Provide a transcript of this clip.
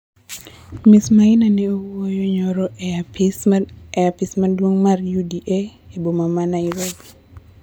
Ms Maina ne wuoyo nyoro e apis maduong' mar UDA e boma ma Nairobi